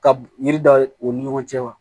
Ka yiri dan u ni ɲɔgɔn cɛ wa